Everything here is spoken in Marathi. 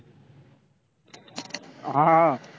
हा.